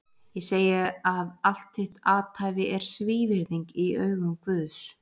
Ég segi að allt þitt athæfi er svívirðing í augum Guðs!